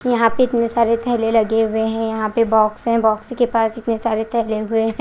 यहां पे इतने सारे थैले लगे हुए हैं यहां पे बॉक्स है बॉक्स के पास इतने सारे थैले हुए हैं।